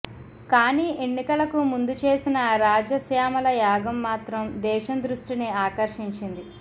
కానీ ఎన్నికలకు ముందుచేసిన రాజశ్యామల యాగం మాత్రం దేశం దృష్టిని ఆకర్షించింది